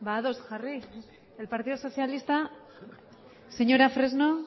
ados jarri el partido socialista señora fresno